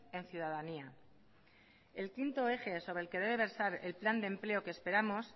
en ciudadanía el quinto eje sobre el que debe versar el plan de empleo que esperamos